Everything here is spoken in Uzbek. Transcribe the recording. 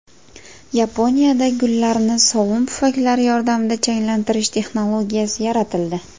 Yaponiyada gullarni sovun pufaklari yordamida changlantirish texnologiyasi yaratildi.